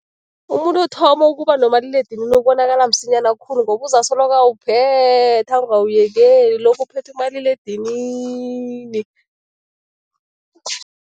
Umuntu othoma ukuba nomaliledinini ubonakala msinyana khulu ngoba uzasoloko awuphethe, angawuyekeli, lokhu uphethe umaliledinini.